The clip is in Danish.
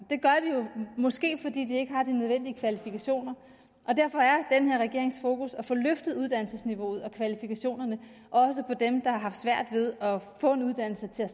i måske fordi de ikke har de nødvendige kvalifikationer derfor er den her regerings fokus at få løftet uddannelsesniveauet og kvalifikationerne også for dem der har haft svært ved at få en uddannelse til at